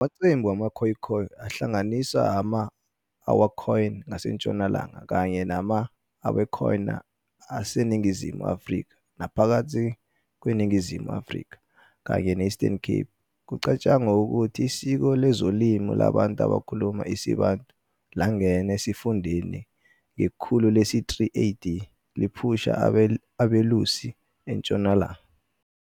Amaqembu wama-"Khoekhoe" ahlanganiswa ama-ǀAwakhoen ngasentshonalanga, kanye nama-ǀKx'abakhoena aseNingizimu afrika naphakathi kweNingizimu Afrika, kanye ne-Eastern Cape. Kucatshangwa ukuthi isiko lezolimo labantu abakhuluma isiBantu langena esifundeni ngekhulu lesi-3 AD, liphusha abelusi eNtshonalanga.